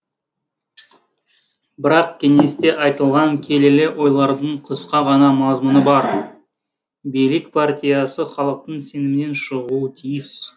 бірақ кеңесте айтылған келелі ойлардың қысқа ғана мазмұны бар билік партиясы халықтың сенімінен шығуы тиіс